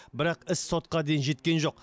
бірақ іс сотқа дейін жеткен жоқ